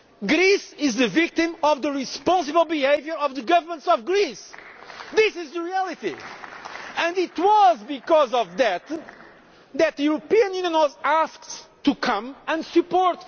said Greece is the victim of the policies of Europe. False! Completely! Greece is the victim of the irresponsible behaviour of the governments of Greece. This is the reality, and it was